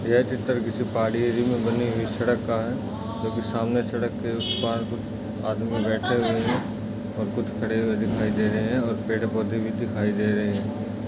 यह पिक्चर किसी पहाड़ी एरिये में बनी हुई सड़क का है| सामने सड़क के उस पार आदमी बैठे हुए हैं कुछ खड़े हुए दिखाई दे रहे हैं कुछ पेड़-पौधे दिखाई दे रहे हैं |